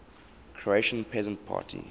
croatian peasant party